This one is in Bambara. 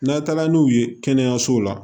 N'a taara n'u ye kɛnɛyaso la